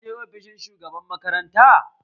Ka je ofishin shugaban makaranta?